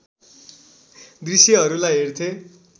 दृश्यहरूलाई हेर्थे